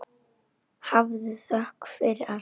Hafðu þökk fyrir allt.